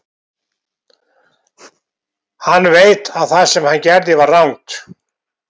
Hann veit að það sem hann gerði var rangt.